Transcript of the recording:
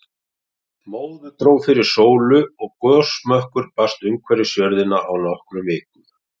Móðu dró fyrir sólu og gosmökkur barst umhverfis jörðina á nokkrum vikum.